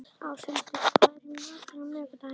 Áshildur, hvað er í matinn á miðvikudaginn?